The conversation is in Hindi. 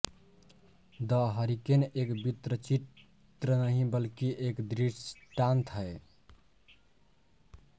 द हरीकेन एक वृत्तचित्र नहीं बल्कि एक दृष्टांत है